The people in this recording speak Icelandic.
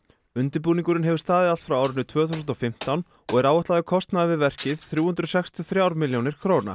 undirbúningurinn hefur staðið allt frá árinu tvö þúsund og fimmtán og er áætlaður kostnaður við verkið þrjú hundruð sextíu og þrjár milljónir króna